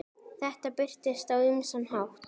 Þetta birtist á ýmsan hátt.